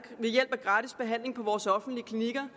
ved hjælp af gratis behandling på vores offentlige klinikker